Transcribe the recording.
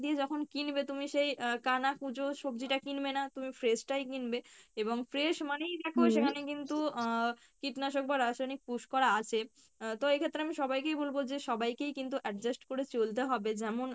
যখন কিনবে তুমি সেই আহ কানা কুঁজো সবজি টা কিনবে না, তুমি fresh টাই কিনবে এবং fresh মানেই দেখো সেখানে কিন্তু আহ কীটনাশক বা রাসায়নিক push করা আছে আহ তো এইক্ষেত্রে আমি সবাইকেই বলবো যে সবাইকেই কিন্তু adjust করে চলতে হবে যেমন